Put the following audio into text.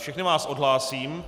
Všechny vás odhlásím.